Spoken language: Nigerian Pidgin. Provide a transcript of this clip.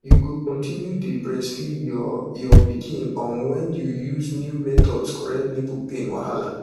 you go continue dey breastfeed your your pikin um when you use new methods correct nipple pain wahala